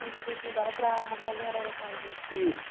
E vocês se mudaram para uma casa em Araraquara mesmo? Isso